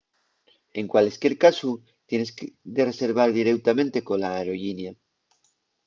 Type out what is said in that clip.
en cualesquier casu tienes de reservar direutamente cola aerollinia